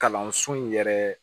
Kalanso in yɛrɛ